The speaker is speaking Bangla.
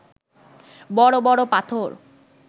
বড় বড় পাথর